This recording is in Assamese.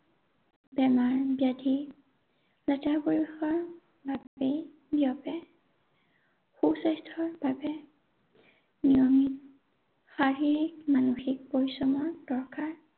বেমাৰ ব্যাধি লেতেৰা পৰিৱেশৰ বাবেই বিয়পে। সুস্বাস্থ্যৰ বাবে নিয়মিত শাৰীৰিক, মানসিক পৰিশ্ৰমৰ দৰকাৰ।